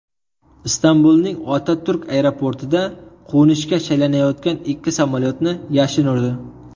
Istanbulning Otaturk aeroportida qo‘nishga shaylanayotgan ikki samolyotni yashin urdi.